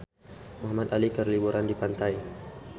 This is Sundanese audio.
Muhamad Ali keur liburan di pantai